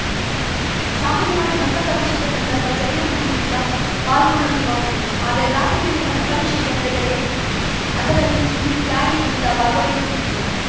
ಸಾಮಾನ್ಯವಾಗಿ ಮಸ್ತಕಾಭಿಷೇಕ ಸಂದರ್ಭ ಜೈನ ಮುನಿ ವೃದ್ಧ ಪಾಲ್ಗೊಳ್ಳುವುದು ವಾಡಿಕೆ ಆದರೆ ರಾತ್ರಿ ವೇಳೆ ಮಸ್ತಕಾಭಿಷೇಕ ನಡೆದರೆ ಅದರಲ್ಲಿ ಈ ತ್ಯಾಗಿ ವೃದ್ಧ ಭಾಗವಹಿಸುವುದಿಲ್ಲ